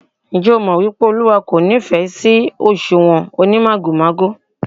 Ǹjẹ́ ẹ mọ̀ wípé Olúwa kò nífẹ̀ sí òṣùwọ̀n onímàgòmágò?